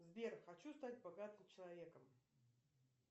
сбер хочу стать богатым человеком